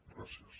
gràcies